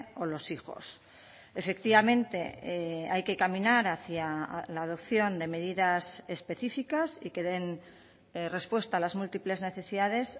o los hijos efectivamente hay que caminar hacia la adopción de medidas específicas y que den respuesta a las múltiples necesidades